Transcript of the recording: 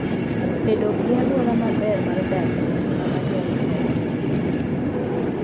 Bedo gi alwora maber mar dak en gima dwarore ahinya ne nyuogi.